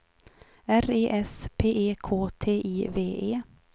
R E S P E K T I V E